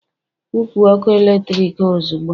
kwụpụ ọkụ eletrik ha ozugbo!